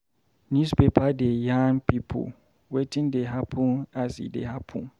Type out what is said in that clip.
Newspaper dey yarn pipo wetin dey happen as e dey happen.